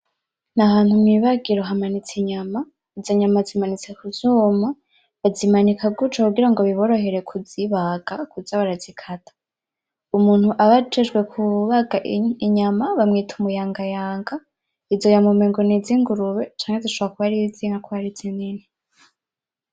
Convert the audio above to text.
N'ahantu mw’ibagiro hamanitse inyama, izo nyama zimanitse kuvyuma, bazimanika guco kugira ngo biboroherere kuzibaga, kuza barazikata. Umuntu aba ajejwe kubaga inyama bamwita umuyangayanga, izo nyama emengo nizingurube canke zishobora kuba ari iz’inka kubera ari zinini.